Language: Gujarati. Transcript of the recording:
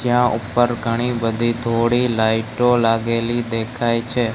ત્યાં ઉપર ઘણી બધી થોડી લાઈટ ઓ લાગેલી દેખાય છે.